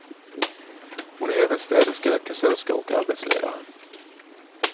Hon är även städerska, kassörska och arbetsledare.